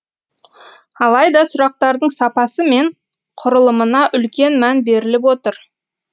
алайда сұрақтардың сапасы мен құрылымына үлкен мән беріліп отыр